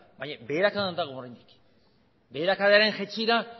baina beherakadan dago oraindik beherakadaren jaitsiera